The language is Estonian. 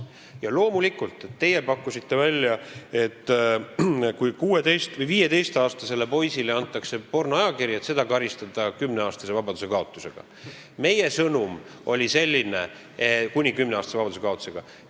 Ja loomulikult, teie pakkusite välja, et kui 15-aastasele poisile antakse pornoajakiri, siis seda karistada kuni 10-aastase vabadusekaotusega.